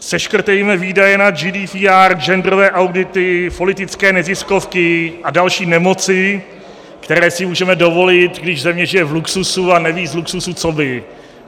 Seškrtejme výdaje na GDPR, genderové audity, politické neziskovky a další nemoci, které si můžeme dovolit, když země žije v luxusu a neví z luxusu co by.